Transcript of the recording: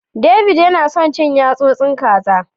David yana son cin yasosin kaza.